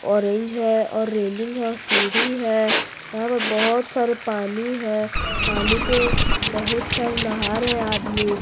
orange है और railing है सीढ़ी है यहां पे बहोत सारे पानी है पानी के बहोत सारे नहा रहे हैं आदमी --